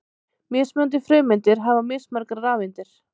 Mismunandi frumeindir hafa mismargar rafeindir.